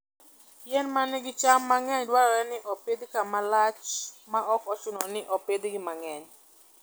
Yien ma nigi cham mang'eny dwarore ni opidh kama lach maok ochuno ni opidhgi mang'eny.